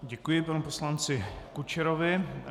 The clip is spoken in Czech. Děkuji panu poslanci Kučerovi.